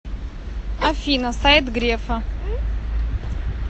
афина сайт грефа